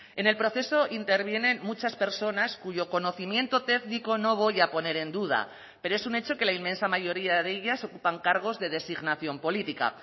en el proceso intervienen muchas personas cuyo conocimiento técnico no voy a poner en duda pero es un hecho que la inmensa mayoría de ellas ocupan cargos de designación política